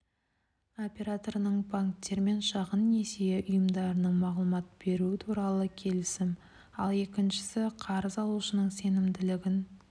операторының банктер мен шағын несие ұйымдарына мағлұмат беруі туралы келісім ал екіншісі қарыз алушының сенімділігін